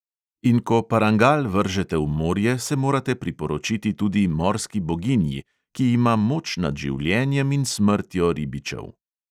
In ko parangal vržete v morje, se morate priporočiti tudi morski boginji, ki ima moč nad življenjem in smrtjo ribičev.